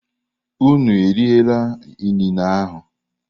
Unu erila inine ahu!